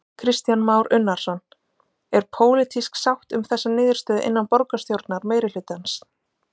Kristján Már Unnarsson: Er pólitísk sátt um þessa niðurstöðu innan borgarstjórnar meirihlutans?